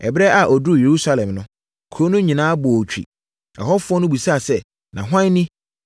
Ɛberɛ a ɔduruu Yerusalem no, kuro no nyinaa bɔɔ twi. Ɛhɔfoɔ no bisaa sɛ, “Na hwan ni?”